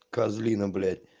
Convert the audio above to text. козлина блять